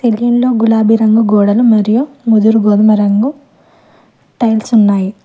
Room లో రెండు గులాబీ రంగు గోడలు మరియు ముదురు గోధుమరంగం టైల్స్ ఉన్నాయి.